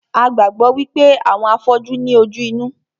A gbàgbọ́ wípé àwọn afọ́jú ní ojú inú